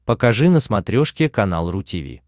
покажи на смотрешке канал ру ти ви